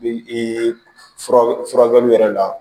Bi fura furakɛli yɛrɛ la